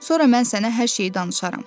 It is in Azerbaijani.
Sonra mən sənə hər şey danışaram.